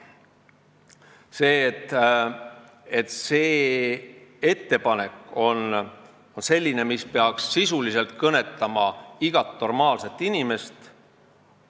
See on selline ettepanek, mis peaks sisuliselt kõnetama igat normaalset inimest.